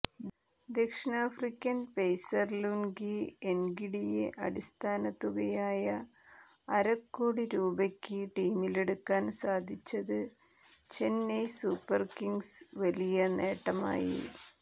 ദക്ഷിണാഫ്രിക്കൻ pacer Lungi എൻഗിഡിയെ അടിസ്ഥാന തുകയായ അരക്കോടി രൂപക്ക് ടീമിലെടുക്കാൻ സാധിച്ചത് ചെന്നൈ സൂപ്പർ കിംഗ്സിന് വലിയ നേട്ടമായി